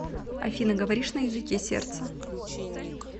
афина говоришь на языке сердца